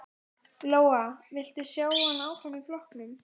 Lóa: Vilt þú sjá hann áfram í flokknum?